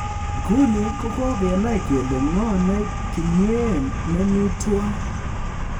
Nguni kogakenai kele ng'o ne kimween ne mi tuan